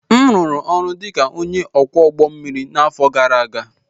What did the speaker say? m rụrụ ọrụ dị ka onye ọkwọ ụgbọ mmiri n'afọ gara aga